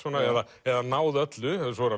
eða eða náð öllu svo er